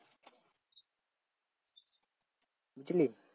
বুঝলি?